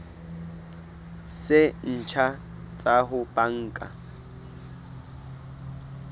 tse ntjha tsa ho banka